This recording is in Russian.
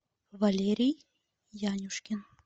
валерий янюшкин